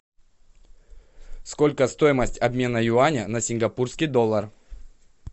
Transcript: сколько стоимость обмена юаня на сингапурский доллар